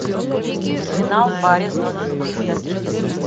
терминал барри зонненфельда